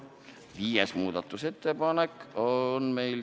Viies muudatusettepanek on meil ...